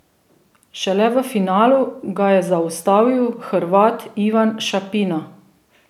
Šele v finalu ga je zaustavil Hrvat Ivan Šapina.